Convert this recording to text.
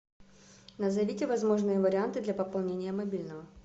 назовите возможные варианты для пополнения мобильного